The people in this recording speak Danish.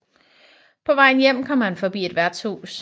På vejen hjem kom han forbi et værtshus